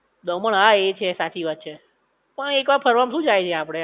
દમણ હા એ છે સાચી વાત છે, પણ એક વાર ફરવામાં શું જાઇ છે આપડે